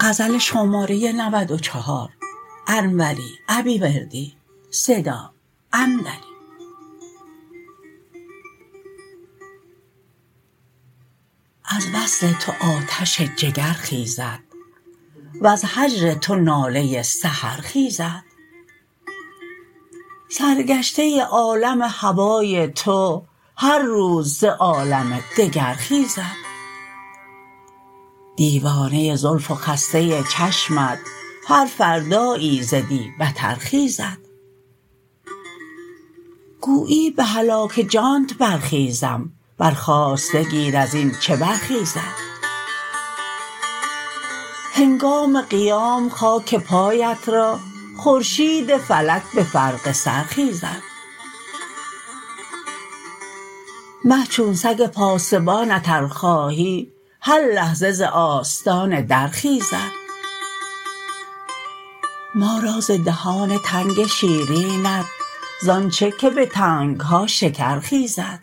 از وصل تو آتش جگر خیزد وز هجر تو ناله سحر خیزد سرگشته عالم هوای تو هر روز ز عالم دگر خیزد دیوانه زلف و خسته چشمت هر فردایی ز دی بتر خیزد گویی به هلاک جانت برخیزم برخاسته گیر از این چه برخیزد هنگام قیام خاک پایت را خورشید فلک به فرق سر خیزد مه چون سگ پاسبانت ار خواهی هر لحظه ز آستان در خیزد ما را ز دهان تنگ شیرینت زان چه که به تنگها شکر خیزد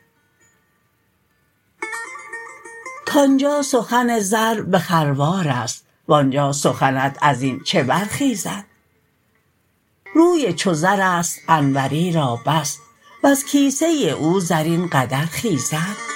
کانجا سخن زر به خروارست وانجا سخنت ازین چه برخیزد روی چو زرست انوری را بس وز کیسه او زر این قدر خیزد